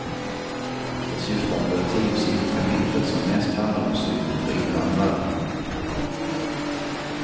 De syftar på ett tiosidigt kapitel som mest handlar om synen på invandrare.